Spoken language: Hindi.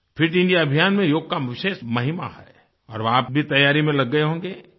फिट इंडिया अभियान में योग की विशेष महिमा है और आप भी तैयारी में लग गए होंगे